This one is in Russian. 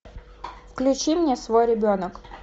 включи мне свой ребенок